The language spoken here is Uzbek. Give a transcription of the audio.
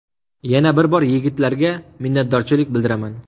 Yana bir bor yigitlarga minnatdorchilik bildiraman.